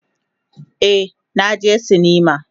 Ee, na je sinima.